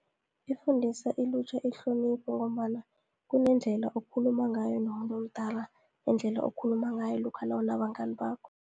Ifundisa ilutjha ihlonipho, ngombana kunendlela okhuluma ngayo nomuntu omdala, nendlela okhuluma ngayo lokha nawunabangani bakho.